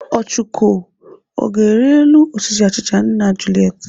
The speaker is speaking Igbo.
Ọchụko, ọ ga-arị elu osisi achịcha nna Juliet?